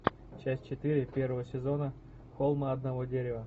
часть четыре первого сезона холм одного дерева